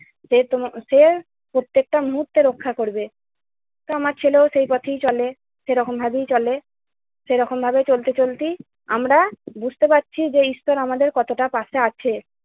সে তম~ সে প্রত্যেকটা মুহূর্তে রক্ষা করবে। তো আমার ছেলেও সেই পথেই চলে, সেরকম ভাবেই চলে, সেই রকম ভাবে চলতে চলতেই আমরা বুঝতে পারছি যে, ঈশ্বর আমাদের কতটা পাশে আছে।